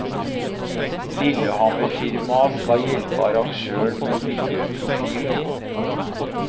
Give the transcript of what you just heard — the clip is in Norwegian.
Lillehammerfirmaet skal hjelpe arrangøren med miljøprofilen.